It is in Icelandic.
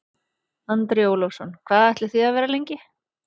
Andri Ólafsson: Hvað ætlið þið að vera lengi?